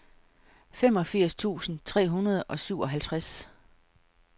femogfirs tusind tre hundrede og syvoghalvtreds